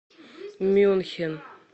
мюнхен